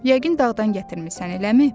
Yəqin dağdan gətirmisən, eləmi?